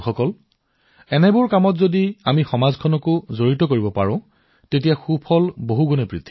বন্ধুসকল এনে কাৰ্যকলাপত যদি আমি সমাজক একত্ৰিত কৰো তেন্তে ফলাফল ডাঙৰ হয়